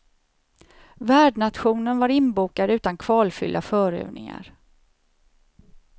Värdnationen var inbokad utan kvalfyllda förövningar.